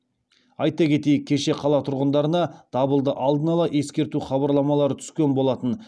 айта кетейік кеше қала тұрғындарына дабылды алдын ала ескерту хабарламалары түскен болатын